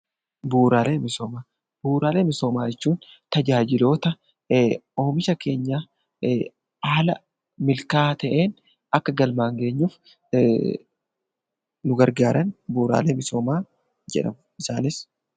Bu'uuraalee misoomaa. Bu'uuraalee misoomaa jechuun tajaajiloota oomisha keenya haala milkaa'aa ta'een akka galmaan geenyuuf nu gargaaran bu'uuraalee misoomaa jedhamu. Isaanis,...